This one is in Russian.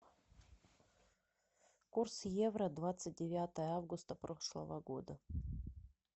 курс евро двадцать девятое августа прошлого года